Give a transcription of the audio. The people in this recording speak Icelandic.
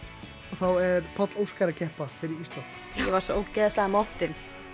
þá er Páll Óskar að keppa fyrir Ísland ég var svo ógeðslega montin